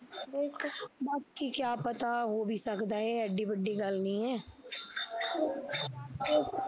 ਦੇਖੋ ਬਾਕੀ ਕਿਆ ਪਤਾ ਹੋ ਵੀ ਸਕਦਾ ਐ ਏਡੀ ਵੱਡੀ ਗੱਲ ਨੀ ਐ